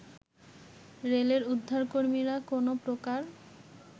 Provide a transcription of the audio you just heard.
রেলের উদ্ধারকর্মীরা কোনো প্রকার